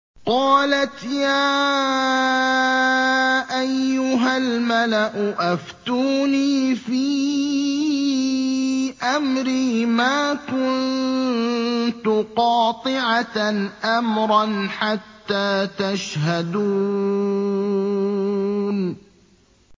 قَالَتْ يَا أَيُّهَا الْمَلَأُ أَفْتُونِي فِي أَمْرِي مَا كُنتُ قَاطِعَةً أَمْرًا حَتَّىٰ تَشْهَدُونِ